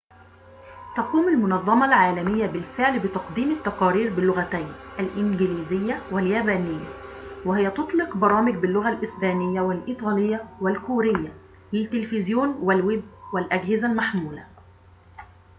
تقوم المنظمة العالمية بالفعل بتقديم التقارير باللغتين الإنجليزية واليابانية وهي تطلق برامج باللغة الإسبانية والإيطالية والكورية للتليفزيون والويب والأجهزة المحمولة